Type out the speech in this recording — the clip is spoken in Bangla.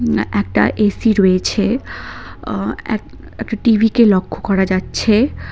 একটা এসি রয়েছে এক একটা টিভিকে লক্ষ্য করা যাচ্ছে।